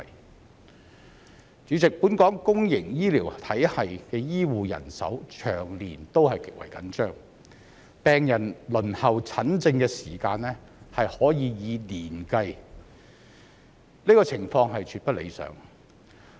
代理主席，本港公營醫療體系的醫護人手長年極為緊張，病人輪候診症的時間可以以年計，這個情況絕不理想。